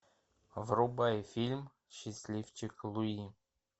врубай фильм счастливчик луи